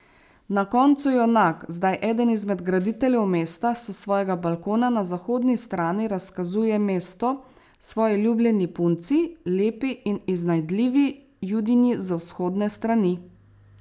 Na koncu junak, zdaj eden izmed graditeljev mesta, s svojega balkona na zahodni strani razkazuje mesto svoji ljubljeni punci, lepi in iznajdljivi Judinji z vzhodne strani.